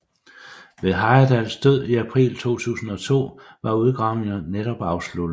Ved Heyerdahls død i april 2002 var udgravningerne netop afsluttet